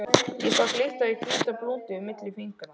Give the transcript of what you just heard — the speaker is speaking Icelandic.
Ég sá glitta í hvíta blúndu milli fingra.